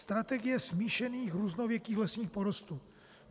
- Strategie smíšených různověkých lesních porostů.